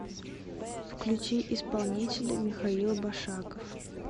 включи исполнителя михаил башаков